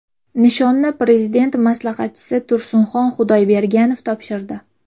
Nishonni Prezident maslahatchisi Tursinxon Xudoyberganov topshirdi.